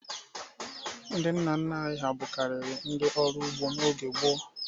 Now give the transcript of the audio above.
Ndị nna nna anyị ha bụkarị ndị ọrụ ugbo n'oge gboo.